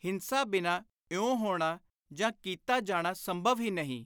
ਹਿੰਸਾ ਬਿਨਾਂ ਇਉਂ ਹੋਣਾ ਜਾਂ ਕੀਤਾ ਜਾਣਾ ਸੰਭਵ ਹੀ ਨਹੀਂ।